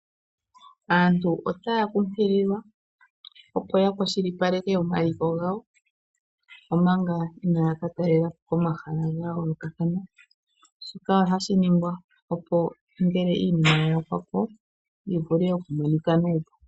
Aantu otaya kunkiliwa opo ya kwashilipaleke oma liko gawo, omanga inaya ka talelapo omahala ga yoolokathana. Shika ohashi ningwa opo ngele iinima ya yakwapo, yi vule oku monika nuupu.